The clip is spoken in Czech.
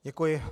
Děkuji.